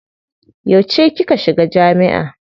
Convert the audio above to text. Yauce kika shiga jami'a.